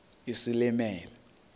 isilimela